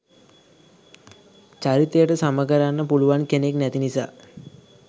චරිතයට සම කරන්න පුලුවන් කෙනෙක් නැති නිසා.